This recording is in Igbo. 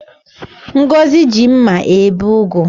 Ngọzi ji mma ebe ugu